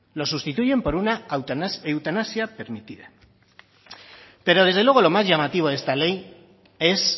lo sustituyen por una eutanasia permitida pero desde luego lo más llamativo de esta ley es